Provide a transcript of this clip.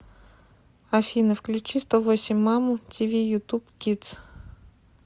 афина включи сто восемь маму ти ви ютуб кидс